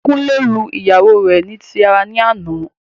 Kunle lu ìyàwó rẹ ni tí ara ní àná